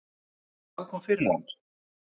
Hvað kom fyrir hann?